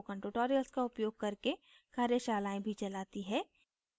spoken tutorials का उपयोग करके कार्यशालाएँ भी चलाती है